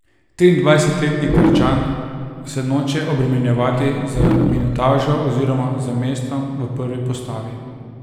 Triindvajsetletni Krčan se noče obremenjevati z minutažo oziroma z mestom v prvi postavi.